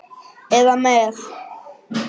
eða með